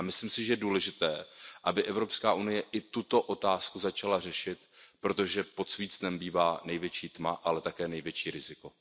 A myslím si, že je důležité, aby Evropská unie i tuto otázku začala řešit, protože pod svícnem bývá největší tma, ale také největší riziko.